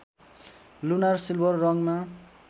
lunar silver रङमा